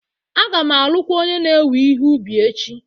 Aga m arụkwazi onye na-ewe ihe ubi echi